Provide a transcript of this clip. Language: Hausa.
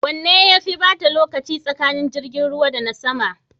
Wanne yafe bata lokaci tsakanin jirgin ruwa da na sama?